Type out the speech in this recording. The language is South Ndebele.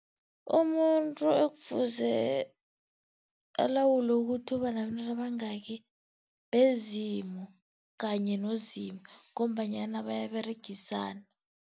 Umuntu ekufuze alawule ukuthi ubanabentwana abayingaki bezimu kanye noZimu ngombanyana bayaberegisana.